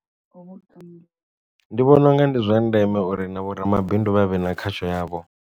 Ndi vhona unga ndi zwa ndeme uri na vho ramabindu vha vhe na khatsho yavho.